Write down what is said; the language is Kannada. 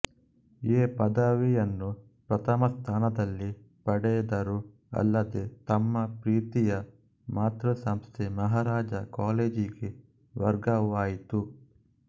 ಎ ಪದವಿಯನ್ನು ಪ್ರಥಮ ಸ್ಥಾನದಲ್ಲಿ ಪಡೆದರು ಅಲ್ಲದೆ ತಮ್ಮ ಪ್ರೀತಿಯ ಮಾತೃ ಸಂಸ್ಥೆ ಮಹಾರಾಜ ಕಾಲೇಜಿಗೆ ವರ್ಗವೂ ಆಯಿತು